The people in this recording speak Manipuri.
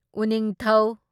ꯎꯅꯤꯡꯊꯧ